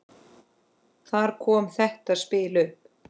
Þar kom þetta spil upp.